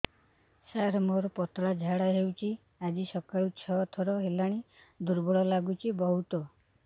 ସାର ମୋର ପତଳା ଝାଡା ହେଉଛି ଆଜି ସକାଳୁ ଛଅ ଥର ହେଲାଣି ଦୁର୍ବଳ ଲାଗୁଚି ବହୁତ